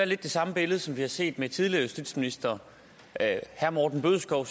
lidt det samme billede som vi har set med tidligere justitsministre herre morten bødskov